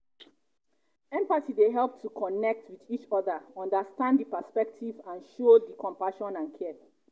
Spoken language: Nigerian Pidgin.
empathy dey help to connect um with each oda understand di perspectives and um show um di compassion and care.